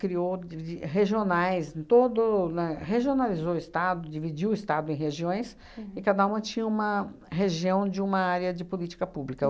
criou de de regionais em todo lá, regionalizou o Estado, dividiu o Estado em regiões, e cada uma tinha uma região de uma área de política pública.